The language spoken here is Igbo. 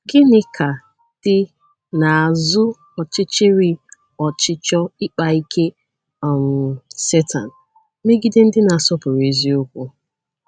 Gịnị ka dị n’azụ ọchịchịrị ọchịchọ Ịkpa Ike um Setan megide ndị na-asọpụrụ eziokwu?